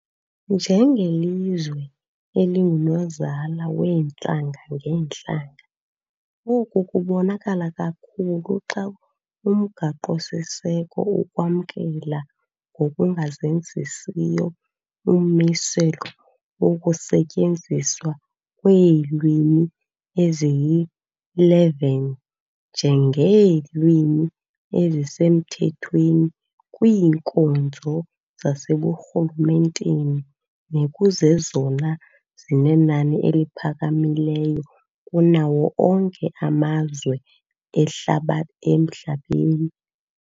Njengelizwe elingunozala weentlanga-ngeentlanga, oku kubonakala kakhulu xa umgaqo siseko ukwamkela ngokungazenzisiyo ummiselo wokusetyenziswa kweelwimi ezili-11 nje ngeelwimi ezisemthethweni kwiinkonzo zaseburhulumenteni, nekuzezona zinenani eliphakamileyo kunawo onke amazwe emhlabeni.